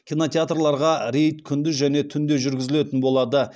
кинотеатрларға рейд күндіз және түнде жүргізілетін болады